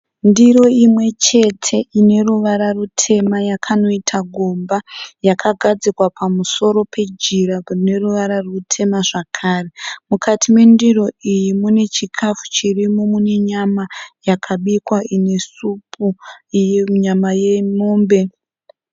Ndiro imwe chete ine ruvara rutema yakanoita gomba yakagadzikwa pamusoro pejira rine ruvara rutema zvakare. Mukati mendiro iyi mune chikafu chirimo mune nyama yakabikwa ine supu iyi nyama yemombe.